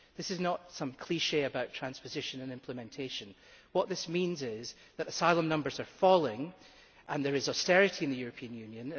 This is not some cliché about transposition and implementation, what this means is that asylum numbers are falling, and there is austerity in the European Union.